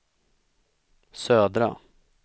södra